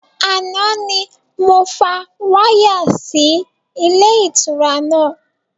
Àná ni mo fa wáyà sì ilé ìtura náà